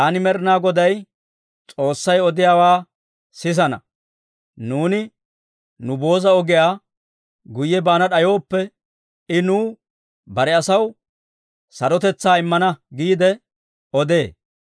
Taani Med'inaa Goday S'oossay odiyaawaa sisana. Nuuni nu booza ogiyaa guyye baana d'ayooppe, I nuw, bare asaw, «Sarotetsaa immana» giide odee.